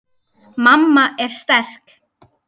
Mamma er sterk.